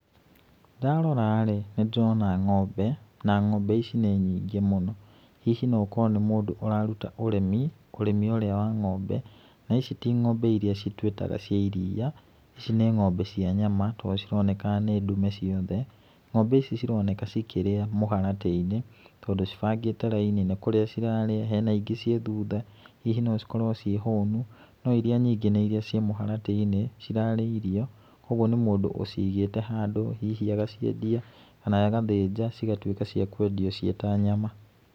Ndarora rĩ, nĩ ndĩrona ng'ombe na ng'ombe ici nĩ nyingĩ mũno. Hihi no gũkorwo nĩ mũndũ ũraruta ũrĩmi, ũrĩmi ũrĩa wa ng'ombe, na ici ti ng'ombe iria twĩtaga cia iria, ici nĩ ng'ombe cia nyama, tondũ cironeka nĩ ndume ciothe. Ng'ombe ici cironeka cikĩrĩa mũharatĩ-inĩ, tondũ cibangĩte raini, nĩ kũrĩa cirarĩa, hena ingĩ ciĩ thutha, hihi no cikorwo ciĩ hũnu no iria nyingĩ nĩ iria ciĩ mũharatĩ-inĩ cirarĩa irio, koguo nĩ mũndũ ũcigĩte handũ, hihi agaciendie kana agathinja cigatuĩka cia kwendio ciĩ ta nyama.